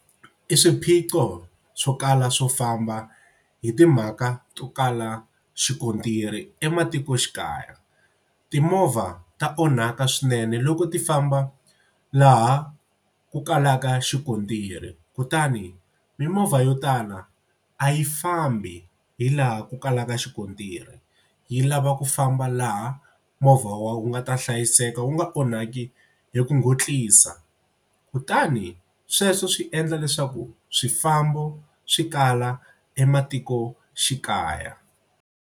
I swiphiqo swo kala swo famba hi timhaka to kala xikontiri ematikoxikaya. Timovha ta onhaka swinene loko ti famba laha ku kalaka xikontiri kutani mimovha yo tala a yi fambi hi laha ku kalaka xikontiri yi lava ku famba laha movha wu nga ta hlayiseka wu nga onhaki hi ku kutani sweswo swi endla leswaku swifambo swi kala ematikoxikaya.